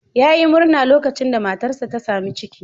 Yayi murna lokacin da matarsa ta sami ciki.